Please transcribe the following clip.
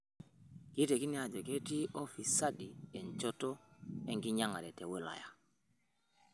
Keitekini ajo ketii ufisadi enchoto enkinyang'a te wilaya